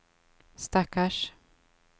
stackars